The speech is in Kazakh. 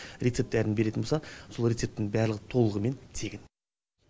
рецепт дәріні беретін болса сол рецептінің барлығы толығымен тегін